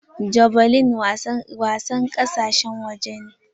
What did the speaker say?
Javelin wasar kasashen waje ne.